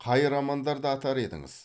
қай романдарды атар едіңіз